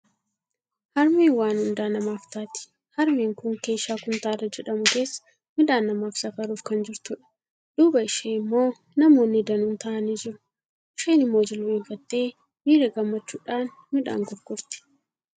Harmeen waan hundaa namaaf taati! Harmeen kun keeshaa kuntaala jedhamu keessaa midhaan namaaf safaruuf kan jirtudha. Duuba ishee immoo namoonni danuun taa'anii jiru. Isheen immoo jilbeenfattee miira gammachuudhaan midhaan gurgurti.